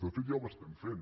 de fet ja ho estem fent